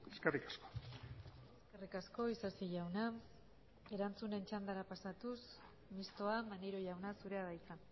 eskerrik asko eskerrik asko isasi jauna erantzunen txandara pasatuz mistoa maneiro jauna zurea da hitza